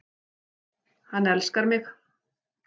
Hann elskar mig